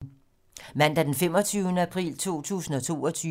Mandag d. 25. april 2022